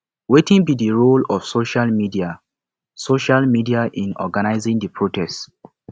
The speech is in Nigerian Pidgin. wetin be di role of social media social media in organizing di protest